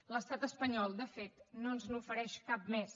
l’estat espanyol de fet no ens n’ofereix cap més